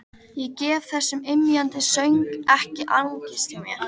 Ég gef þessum ymjandi söng ekki angist mína.